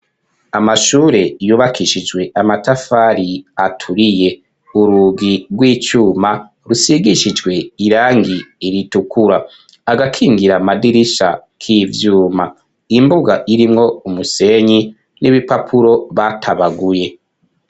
Ikibanza ciza cane cagutse kirimwo inzu yubakishije amatafari ahiye kuvasi gushika hejuru rikaba risakaje amabati rifise imiryango n'abadirisha bikoze mu cuma imbere uhosangayo intewe z'ibiti zitonze umurongo zicayeko abanyeshuri.